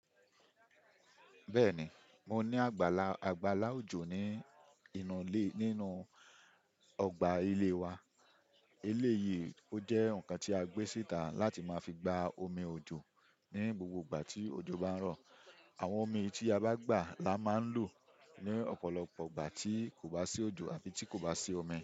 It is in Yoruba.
Bẹ́ẹ̀ni, mo ní àgbàlá, àgbàlá òjò ní inú ọgbà ilé wa. Eléyìí ó jẹ́ ǹkan tí a gbé síta láti máa fi gba omi òjò ní gbogbo ìgbà tí òjò bá ń rọ̀. Àwọn omi tí a bá gbà la máa ń lò ní ọ̀pọ̀lọpọ̀ ìgbà tí kò bá sí òjò àfi tí kò bá sí omi.